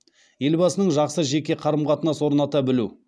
елбасының жақсы жеке қарым қатынас орната білу